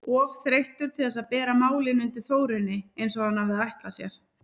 Of þreyttur til þess að bera málin undir Þórunni eins og hann hafði ætlað sér.